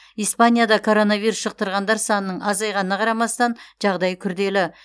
испанияда короновирус жұқтырғандар санының азайғанына қарамастан жағдай күрделі